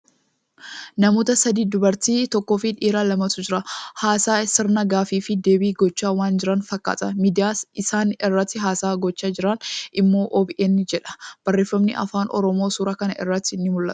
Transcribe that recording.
Namoota sadi, dubartii tokkoo fii dhiira lamatu jira. Haasaa sirna gaaffii fii deebii gochaa waan jiran fakkaata. Miidiyyaan isaan irratti haasaa gochaa jiran immoo OBN jedha. Barreeffamni afaan Oromoo suuraa kana irratti ni mul'ata.